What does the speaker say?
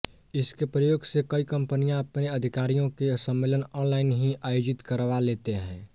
इसके प्रयोग से कई कंपनियां अपने अधिकारियों के सम्मेलन ऑनलाइन ही आयोजित करवा लेते हैं